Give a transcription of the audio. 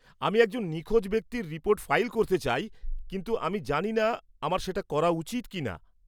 আমি একজন নিখোঁজ ব্যক্তির রিপোর্ট ফাইল করতে চাই, কিন্তু আমি জানি না আমার সেটা করা উচিত কিনা।